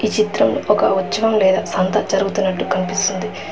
ఈ చిత్రం ఒక ఉచ్చవం లేదా సంత జరుగుతున్నట్టు కన్పిస్తుంది.